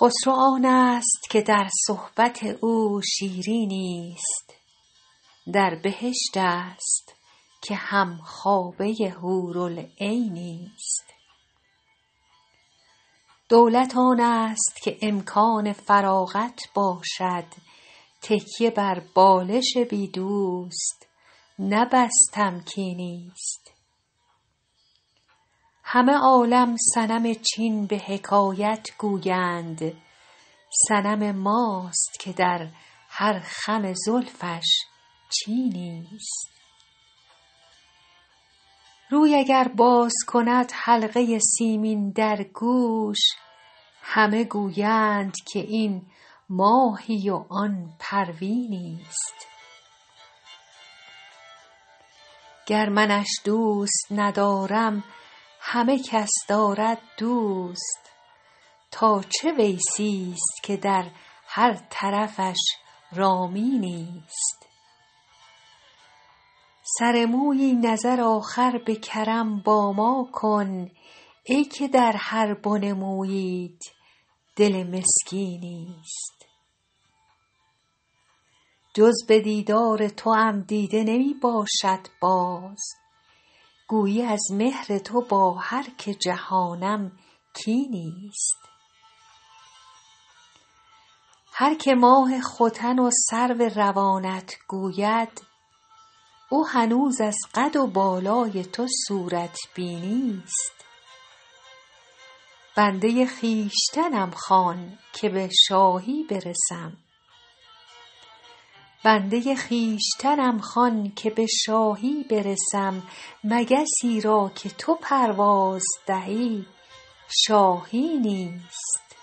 خسرو آنست که در صحبت او شیرینی ست در بهشت است که هم خوابه حورالعینی ست دولت آنست که امکان فراغت باشد تکیه بر بالش بی دوست نه بس تمکینی ست همه عالم صنم چین به حکایت گویند صنم ماست که در هر خم زلفش چینی ست روی اگر باز کند حلقه سیمین در گوش همه گویند که این ماهی و آن پروینی ست گر منش دوست ندارم همه کس دارد دوست تا چه ویسی ست که در هر طرفش رامینی ست سر مویی نظر آخر به کرم با ما کن ای که در هر بن موییت دل مسکینی ست جز به دیدار توام دیده نمی باشد باز گویی از مهر تو با هر که جهانم کینی ست هر که ماه ختن و سرو روانت گوید او هنوز از قد و بالای تو صورت بینی ست بنده خویشتنم خوان که به شاهی برسم مگسی را که تو پرواز دهی شاهینی ست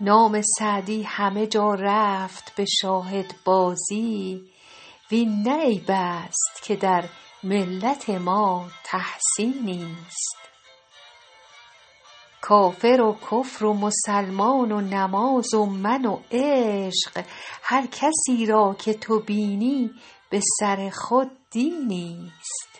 نام سعدی همه جا رفت به شاهدبازی وین نه عیب است که در ملت ما تحسینی ست کافر و کفر و مسلمان و نماز و من و عشق هر کسی را که تو بینی به سر خود دینی ست